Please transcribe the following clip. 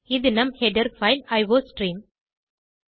இது நம் header file iostream